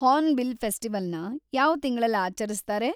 Hornbill ಫೆಸ್ಟಿವಲ್‌ನ ಯಾವ್‌ ತಿಂಗ್ಳಲ್ಲಿ ಆಚರಿಸ್ತಾರೆ?